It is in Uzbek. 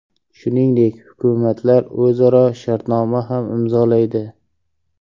Shuningdek, hukumatlar o‘zaro shartnoma ham imzolaydi.